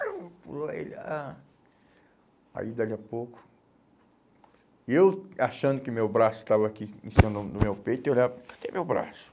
Aí pulou ele, ah, aí dali a pouco, e eu achando que meu braço estava aqui em cima do meu do meu peito, eu olhava, cadê meu braço?